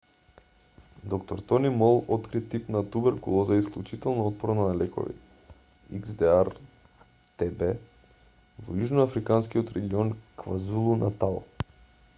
д-р тони мол откри тип на туберкулоза исклучително отпорна на лекови xdr-tb во јужноафриканскиот регион квазулу-натал